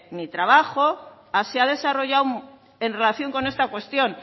mi trabajo se ha desarrollado en relación con esta cuestión